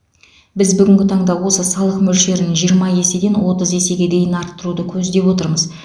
біз бүгінгі таңда осы салық мөлшерін жиырма еседен отыз есеге дейін арттыруды көздеп отырмыз